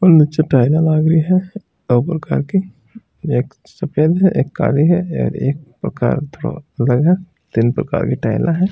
और निचे टाइल ला लागरी है प्रकार के एक सफेद है एक काली है और एक तो थोड़ो अलग प्रकार है तीन प्रकार कि टाइले हैं।